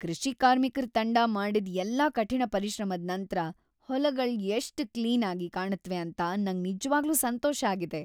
ಕೃಷಿ ಕಾರ್ಮಿಕರ್ ತಂಡ ಮಾಡಿದ್ ಎಲ್ಲಾ ಕಠಿಣ ಪರಿಶ್ರಮದ್ ನಂತ್ರ ಹೊಲಗಳ್ ಎಷ್ಟು ಕ್ಲೀನ್ ಆಗಿ ಕಾಣುತ್ವೆ ಅಂತ ನಂಗ್ ನಿಜ್ವಾಗ್ಲೂ ಸಂತೋಷ ಆಗಿದೆ.